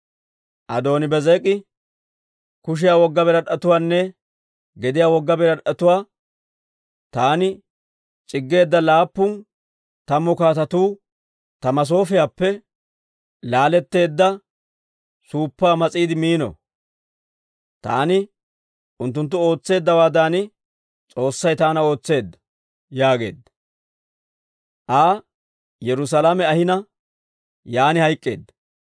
Adooni-Beezek'i, «Kushiyaa wogga birad'd'etuwaanne gediyaa wogga birad'd'etuwaa taani c'iggeedda laappun tammu kaatetuu ta masoofiyaappe laaletteedda suuppaa mas'iide miino. Taani unttunttu ootseeddawaadan, S'oossay taana ootseedda» yaageedda. Aa Yerusaalame ahina, yaan hayk'k'eedda.